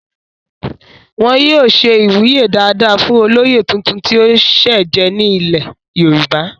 wọn yóò ṣe ìwúyè dáadáa fún olóyè tuntun tí ó sẹ̀ jẹ ní ilẹ̀ yorùbá